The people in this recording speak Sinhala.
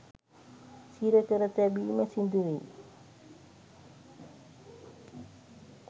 සිර කර තැබීම සිදු වෙයි